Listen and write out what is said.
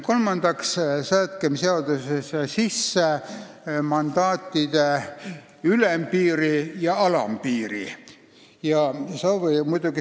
Kolmandaks seame seaduses sisse mandaatide arvu ülempiiri ja alampiiri.